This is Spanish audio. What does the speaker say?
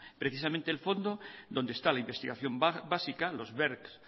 precisamente el fondo donde está la investigación básica los bercs